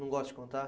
Não gosta de contar?